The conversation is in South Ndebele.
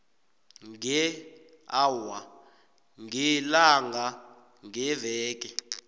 ngeawa ngelanga ngeveke